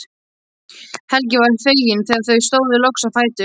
Helgi var feginn þegar þau stóðu loks á fætur.